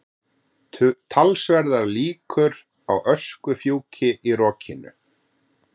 Talsverðar líkur á öskufjúki í rokinu